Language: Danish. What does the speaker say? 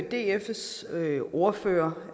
dfs ordfører